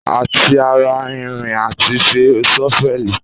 Àtí àrá ìrín làtí sẹ sọfẹli.